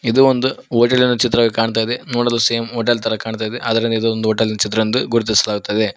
ಇದು ಒಂದು ಭೋಜನದ ಚಿತ್ರವಾಗಿ ಕಾಣ್ತಾ ಇದೆ ನೋಡಲು ಸೇಮ್ ಹೋಟೆಲ್ ತರ ಕಾಣ್ತಾ ಇದೆ ಆದರೆ ಇದೊಂದು ಹೋಟೆಲಿಂದ್ ಚಿತ್ರವೆಂದು ಗುರುತಿಸಲಾಗುತ್ತಿದೆ.